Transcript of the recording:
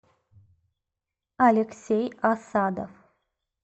алексей асадов